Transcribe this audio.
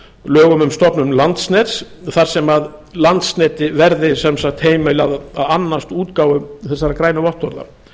lögum um stofnun landsnets þar sem landsneti verði sem sagt heimilað að annast útgáfu þessara grænu vottorða